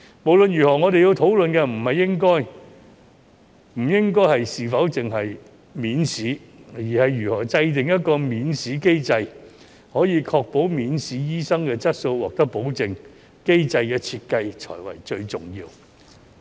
無論如何，我們要討論的不應限於是否容許免試，而是如何制訂一個免試機制，確保免試醫生的質素獲得保證，機制的設計才是最重要的。